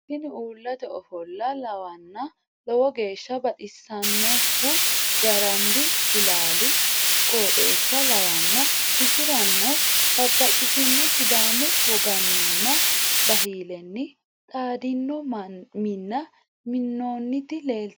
tini ulaate ofoolo lawanna lowo geesha baxisanohu gaaranbi ilaali qoxxesa lawanna issirano babbaxitino sidamu woganina bahileni xadino mina minooniti leelitano